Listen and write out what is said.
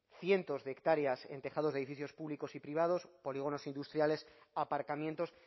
cientos de hectáreas en tejados de edificios públicos y privados polígonos industriales aparcamientos